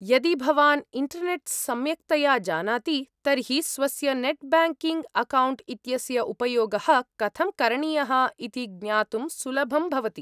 यदि भवान् इण्टर्नेट् सम्यक्तया जानाति, तर्हि स्वस्य नेट् ब्य ङ्किङ्ग् अकौण्ट् इत्यस्य उपयोगः कथं करणीयः इति ज्ञातुं सुलभं भवति।